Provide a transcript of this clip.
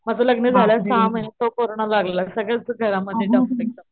माझं लग्न झाल्यांवर सहा महिन्याने तर कोरोना लागला सगळंच घरा मध्ये .